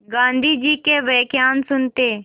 गाँधी जी के व्याख्यान सुनते